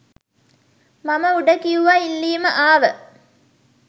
මම උඩ කිව්ව ඉල්ලීම ආව